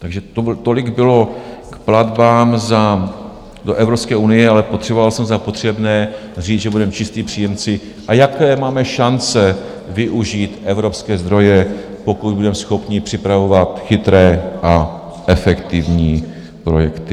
Takže tolik bylo k platbám do Evropské unie, ale považoval jsem za potřebné říct, že budeme čistí příjemci, a jaké máme šance využít evropské zdroje, pokud budeme schopni připravovat chytré a efektivní projekty.